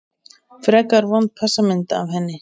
Frekar vond passamynd af henni.